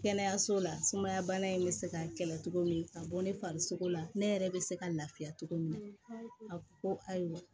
Kɛnɛyaso la sumaya bana in bɛ se ka kɛlɛ cogo min ka bɔ ne farisogo la ne yɛrɛ bɛ se ka lafiya cogo min na a ko ayiwa